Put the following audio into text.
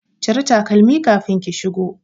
Cire takalmi kafin ki shigo